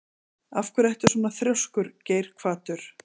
Af hverju ertu svona þrjóskur, Geirhvatur?